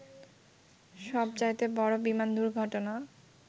সবচাইতে বড় বিমান দুর্ঘটনা